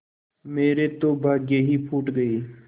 मेरे तो भाग्य ही फूट गये